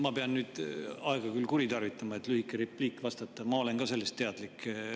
Ma pean nüüd küll aega kuritarvitama, et lühikese repliigiga vastata: ma olen ka sellest teadlik.